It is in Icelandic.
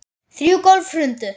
Þrjú gólf hrundu.